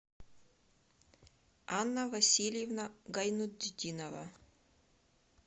анна васильевна гайнутдинова